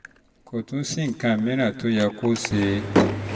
kò tún sí nǹkan mìíràn tó yẹ kó o ṣe